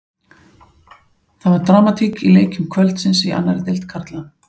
Það var dramatík í leikjum kvöldsins í annarri deild karla.